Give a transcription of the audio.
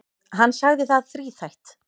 Hann sagði það þríþætt.